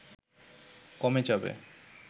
কমে যাবে